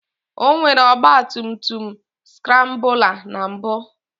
O nwere ọgba tum tum skrambụla na mbụ